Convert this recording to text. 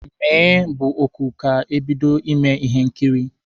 Mee, bụ oku ka ebido ime ihe nkiri